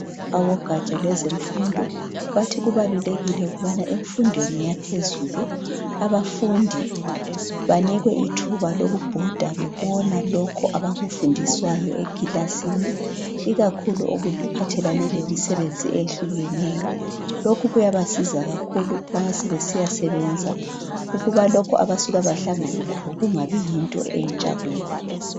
abogatsha lwezemfundo bathi kubalulekile ukubana emfundweni yaphezulu abafundi banikwe ithuba lokubhoda bebona lokhu abakufundiswayo ekilasini ikakhulu okuphathelane lemisebenzi ehlukeneyo lokhu kuyaba siza kakhulu ma sebesiyasebenza ukuba lokhu abasuka bahlangane lakho kungabi yinto entsha kibo